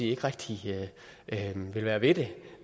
ikke rigtig vil være ved det